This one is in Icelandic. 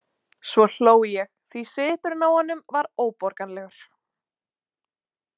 Svo hló ég því svipurinn á honum var óborganlegur.